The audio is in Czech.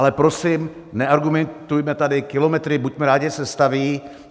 Ale prosím, neargumentujme tady kilometry, buďme rádi, že se staví.